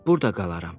Burda qalaram